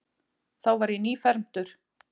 Þá var ég nýfermdur.